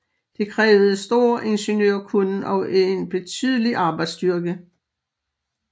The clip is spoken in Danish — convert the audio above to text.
Det krævede stor ingeniørkunnen og en betydelig arbejdsstyrke